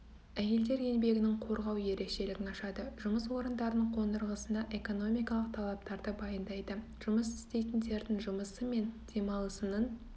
әйелдер еңбегін қорғау ерекшелігін ашады жұмыс орындарының қондырғысына экономикалық талаптарды баяндайды жұмыс істейтіндердің жұмысы мен демалысының